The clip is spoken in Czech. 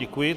Děkuji.